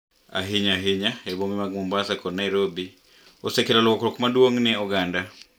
ahinya ahinya e bombe mag Mombasa kod Nairobi, osekelo lokruok maduong' e oganda.